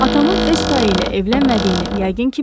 Atamın öz tayı ilə evlənmədiyini, yəqin ki, bilirsiz.